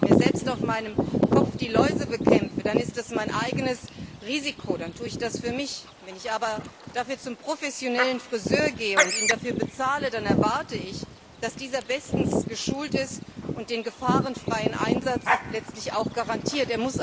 Wenn ich mir selbst auf meinem Kopf die Läuse bekämpfe, ist es mein eigenes Risiko, dann tue ich das für mich. Wenn ich aber dafür zum professionellen Frisör gehe und ihn dafür bezahle, dann erwarte ich, dass dieser bestens geschult ist und den gefahrenfreien Einsatz letztlich auch garantiert.